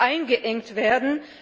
eingeengt werden.